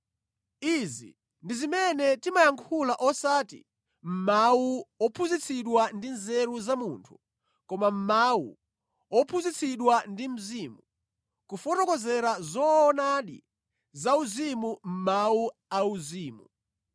Izi ndi zimene timayankhula osati mʼmawu wophunzitsidwa ndi nzeru za munthu koma mʼmawu wophunzitsidwa ndi Mzimu, kufotokozera zoonadi zauzimu mʼmawu auzimu.